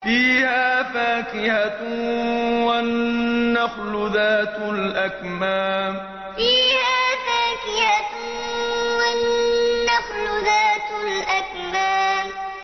فِيهَا فَاكِهَةٌ وَالنَّخْلُ ذَاتُ الْأَكْمَامِ فِيهَا فَاكِهَةٌ وَالنَّخْلُ ذَاتُ الْأَكْمَامِ